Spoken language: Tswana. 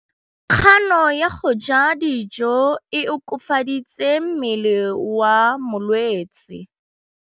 Kganô ya go ja dijo e koafaditse mmele wa molwetse.